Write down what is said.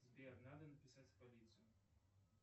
сбер надо написать в полицию